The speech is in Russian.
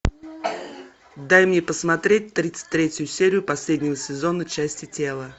дай мне посмотреть тридцать третью серию последнего сезона части тела